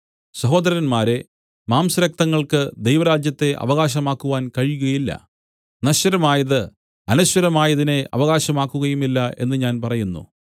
സഹോദരന്മാരേ മാംസരക്തങ്ങൾക്ക് ദൈവരാജ്യത്തെ അവകാശമാക്കുവാൻ കഴിയുകയില്ല നശ്വരമായത് അനശ്വരമായതിനെ അവകാശമാക്കുകയുമില്ല എന്ന് ഞാൻ പറയുന്നു